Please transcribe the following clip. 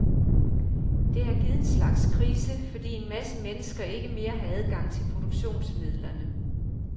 Det har givet en slags krise, fordi en masse mennesker ikke mere har adgang til produktionsmidlerne.